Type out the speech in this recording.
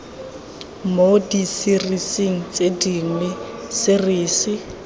mo diserising tse dingwe serisi